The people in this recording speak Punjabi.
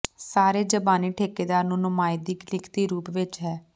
ਸਾਰੇ ਜ਼ਬਾਨੀ ਠੇਕੇਦਾਰ ਦੀ ਨੁਮਾਇੰਦਗੀ ਲਿਖਤੀ ਰੂਪ ਵਿੱਚ ਹੈ